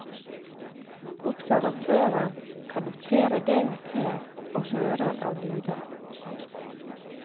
Observatøren kan notere det hun ser og hører av lyder.